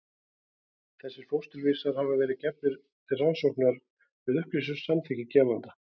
Þessir fósturvísar hafa verið gefnir til rannsókna með upplýstu samþykki gefenda.